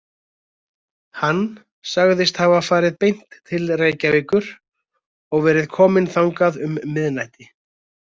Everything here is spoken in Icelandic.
Hann sagðist hafa farið beint til Reykjavíkur og verið kominn þangað um miðnætti.